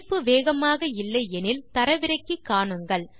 இணைப்பு வேகமாக இல்லை எனில் தரவிறக்கி காணுங்கள்